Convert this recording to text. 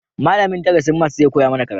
Malamin darasin maths zai koya mana karatu